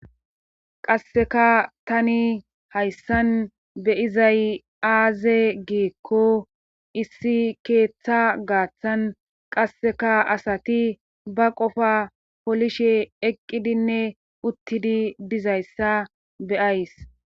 qasseka tani hayssan be7izay aaze giikko issi keetta gaathan qasseka asati ba qofaa polishe eqqidinne uttidi dizayssa be7ays.